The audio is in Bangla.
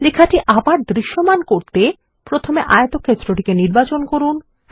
লেখাটি এবার দৃশ্যমান করতে প্রথমে আয়তক্ষেত্রটিকে নির্বাচন করুন